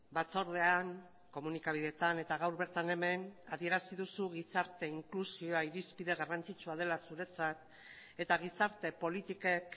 batzordean komunikabideetan eta gaur bertan hemen adierazi duzu gizarte inklusioa irizpide garrantzitsua dela zuretzat eta gizarte politikek